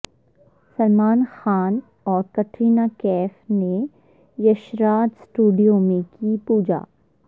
سلمان خان اور کٹرینہ کیف نے یشراج اسٹوڈیو میں کی پوجا